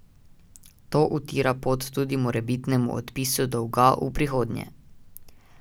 To utira pot tudi morebitnemu odpisu dolga v prihodnje.